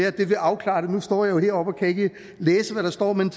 at det kan afklare det nu står jeg jo heroppe og kan ikke læse hvad der står men